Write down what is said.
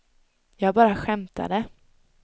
jag bara skämtade